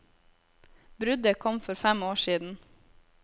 Bruddet kom for fem år siden.